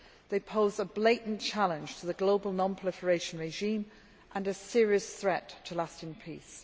They pose a blatant challenge to the global non proliferation regime and a serious threat to lasting peace.